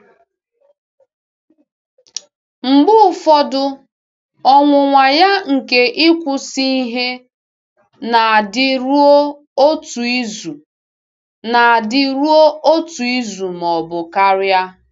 Mgbe ụfọdụ ọnwụnwa ya nke ịkwụsị ihe na-adịru otu izu na-adịru otu izu ma ọ bụ karịa.